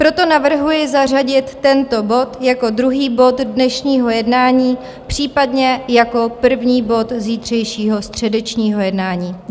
Proto navrhuji zařadit tento bod jako druhý bod dnešního jednání případně jako první bod zítřejšího středečního jednání.